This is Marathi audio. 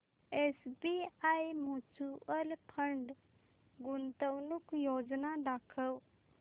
एसबीआय म्यूचुअल फंड गुंतवणूक योजना दाखव